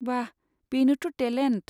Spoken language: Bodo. बाह, बेनोथ' टेलेन्ट।